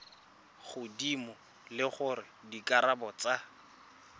godimo le gore dikarabo tsa